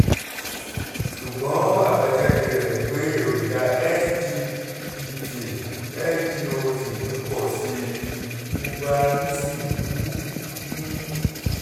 ṣùgbọ́n àbájáde rẹ̀ ni pé èròjà sgpt/sgot mi pọ̀ sí i gbogbo ara mi sì wú um